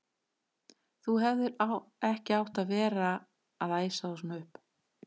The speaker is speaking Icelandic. Þú hefðir ekki átt að vera að æsa þá svona upp!